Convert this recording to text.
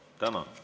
Tänan!